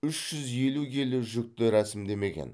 үш жүз елу келі жүкті рәсімдемеген